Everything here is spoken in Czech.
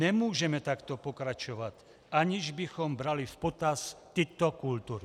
Nemůžeme takto pokračovat, aniž bychom brali v potaz tyto kultury.